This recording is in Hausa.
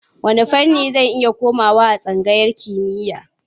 Wanne fanni zan iya komawa a tsangayar kimiyya?